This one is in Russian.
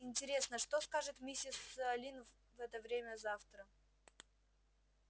интересно что скажет миссис лин в это время завтра